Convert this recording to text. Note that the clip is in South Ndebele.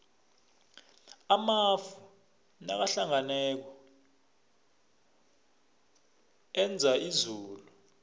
amafu nakahlanganako enza izulu